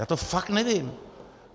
Já to fakt nevím.